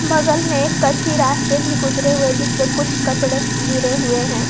बगल में एक कच्ची रास्ते भी गुजरे हुए है जिसपे कुछ कचड़े गिरे हुए है।